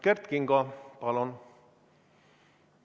Kert Kingo, palun!